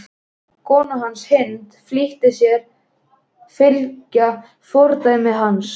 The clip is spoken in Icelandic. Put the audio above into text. Kona hans, Hind, flýtir sér að fylgja fordæmi hans.